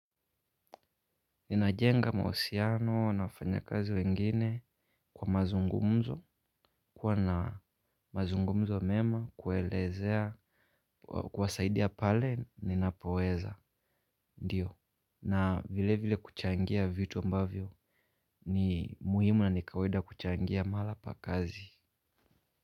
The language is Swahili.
Ninajenga maosiano, na wafanya kazi wengine kwa mazungumzo, kuwa na mazungumzo mema, kuelezea, kuwasaidia pale, ninapoweza, ndiyo. Na vile vile kuchangia vitu ambavyo ni muhimu na nikawaida kuchangia mala pa kazi.